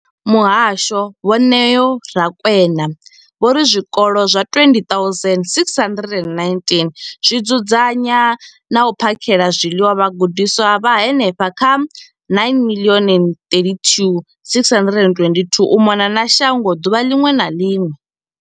Muhasho, Vho Neo Rakwena, vho ri zwikolo zwa 20 619 zwi dzudzanya na u phakhela zwiḽiwa vhagudiswa vha henefha kha 9 032 622 u mona na shango ḓuvha ḽiṅwe na ḽiṅwe.